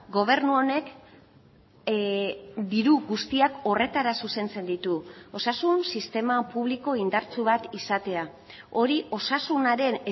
gobernu honek diru guztiak horretara zuzentzen ditu osasun sistema publiko indartsu bat izatea hori osasunaren